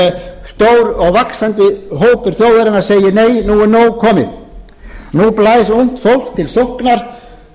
nei stór og vaxandi hópur þjóðarinnar segir nei nú er nóg komið nú blæs ungt fólk til sóknar gegn